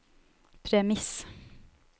premiss